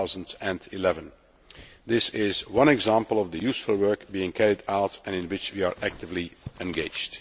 2011. This is one example of the useful work being carried out and in which we are actively engaged.